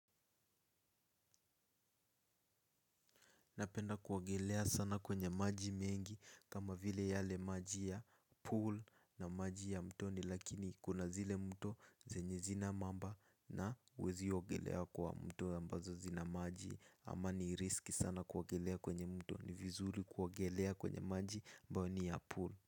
Napenda kuogelea sana kwenye maji mengi kama vile yale maji ya pool na maji ya mtoni lakini kuna zile mto zenye zina mamba na uwezi ogelea kwa mto ambazo zina maji ama ni risky sana kuogelea kwenye mto ni vizuri kuagelea kwenye maji ambao ni ya pool.